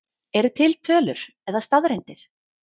Eru til tölur eða staðreyndir?